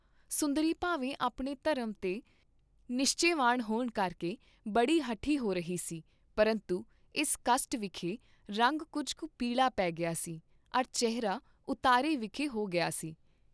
ਸੁੰਦਰੀ ਭਾਵੇਂ ਆਪਣੇ ਧਰਮ ਤੇ ਨਿਸ਼ਚੇਵਾਨ ਹੋਣ ਕਰਕੇ ਬੜੀ ਹਠੀ ਹੋ ਰਹੀ ਸੀ ਪਰੰਤੂ ਇਸ ਕਸਟ ਵਿਖੇ ਰੰਗ ਕੁੱਝ ਕੁ ਪੀਲਾ ਪੇ ਗਿਆ ਸੀ ਅਰ ਚਿਹਰਾ ਉਤਾਰੇ ਵਿਖੇ ਹੋ ਗਿਆ ਸੀ।